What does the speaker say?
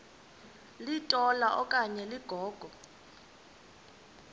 litola okanye ligogo